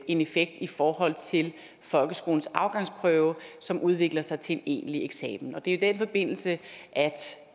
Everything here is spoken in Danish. en effekt i forhold til folkeskolens afgangsprøve som udvikler sig til en egentlig eksamen og det er i den forbindelse at